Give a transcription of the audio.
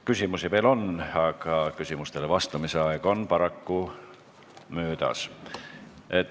Küsimusi veel on, aga küsimustele vastamise aeg on paraku täis.